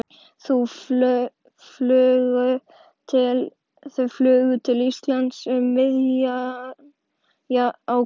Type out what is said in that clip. Þau flugu til Íslands um miðjan ágúst.